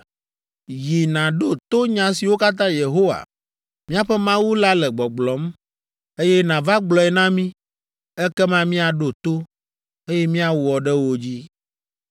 Yi nàɖo to nya siwo katã Yehowa, míaƒe Mawu la le gbɔgblɔm, eye nàva gblɔe na mí, ekema míaɖo to, eye miawɔ ɖe wo dzi.”